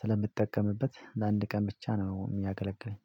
ስለምጠቀምበት ለአንድ ቀን ብቻ ነው የሚያገለግለኝ